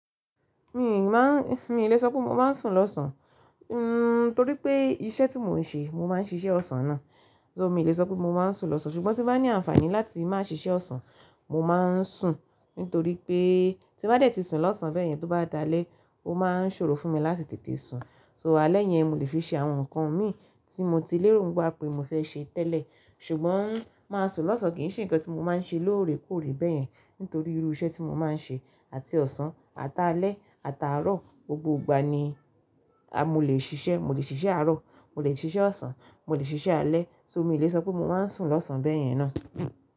Mi ì lè sọ pé mo máa ń sùn lọ́sàn án torí pé iṣẹ́ tí mo ń ṣe, mo máa ń ṣiṣẹ́ ọ̀sán náà. So mi lè sọ pé mo máa ń sùn lọ́sán, ṣùgbọ́n tí nbá ní àǹfààní láti má ṣiṣẹ́ ọ̀sán mo máa ń sùn nítorí pé tí bá tẹ́tí sùn lọ́sán bẹ́ẹ̀ yẹn tó bá dalẹ́ ó máa ń ṣòro fún mi láti tètè sùn. So alẹ́ yẹn mo lè fi ṣe àwọn nǹkan mi tí mo ti lérò wá pé mo fẹ́ ṣe tẹ́lẹ̀. Ṣùgbọ́n máa sùn lọ́sán kì í ṣe nǹkan tí mo máa ń ṣe lóore kóòré bẹ́ẹ̀ yẹn nítorí irú iṣẹ́ tí mo máa ń ṣe àti ọ̀sán àtà alẹ́ àtà arọ̀ gbogbo ìgbà ni a mo lè ṣiṣẹ́. Mo lè ṣiṣẹ́ arọ̀, mo lè ṣiṣẹ́ ọ̀sán, mo lè ṣiṣẹ́ alẹ́ so mi lè sọ pé mo máa ń sùn lọ́sán bẹ́ẹ̀ yẹn náà.